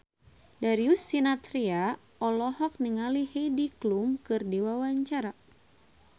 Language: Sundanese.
Darius Sinathrya olohok ningali Heidi Klum keur diwawancara